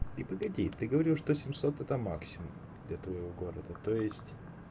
ты погоди ты говорил что семьсот это максимум для твоего города то есть